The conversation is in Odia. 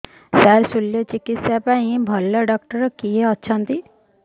ସାର ଶଲ୍ୟଚିକିତ୍ସା ପାଇଁ ଭଲ ଡକ୍ଟର କିଏ ଅଛନ୍ତି